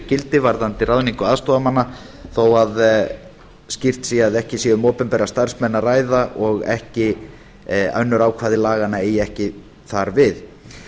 gildi varðandi ráðningu aðstoðarmanna þó skýrt sé að ekki sé um opinbera starfsmenn að ræða og önnur ákvæði laganna eigi ekki þar við